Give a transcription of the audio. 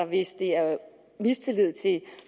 hvis det er mistillid til